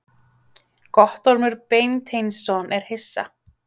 Guttormur Beinteinsson er hissa.